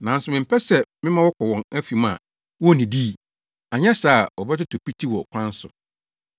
Nanso mempɛ sɛ mema wɔkɔ wɔn afi mu a wonnidii, anyɛ saa a, wɔbɛtotɔ piti wɔ kwan so.”